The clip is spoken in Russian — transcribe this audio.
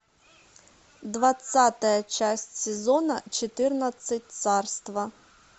двадцатая часть сезона четырнадцать царство